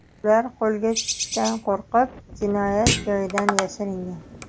Ular qo‘lga tushishdan qo‘rqib, jinoyat joyidan yashiringan.